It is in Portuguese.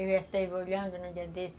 esteve olhando, no dia desse,